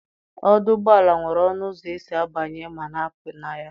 Ọdụ ụgbọala nwere ọnụ ụzọ esi abanye ma na-apụ na ya.